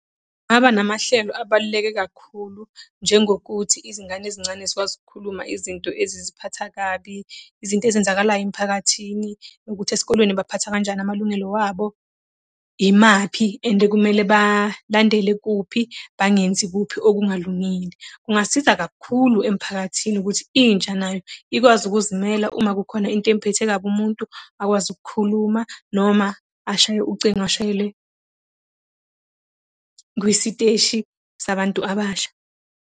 Ngaba namahlelo abaluleke kakhulu, njengokuthi izingane ezincane zikwazi ukukhuluma izinto eziziphatha kabi, izinto ezenzakalayo emphakathini nokuthi esikolweni baphatha kanjani amalungelo wabo. Imaphi and kumele balandele kuphi, bangenzi kuphi okungalungile. Kungasiza kakhulu emphakathini ukuthi intsha nayo ikwazi ukuzimela uma khona into emuphethe kabi umuntu, akwazi ukukhuluma noma ashaye ucingo ashayelwe kwisiteshi sabantu abasha.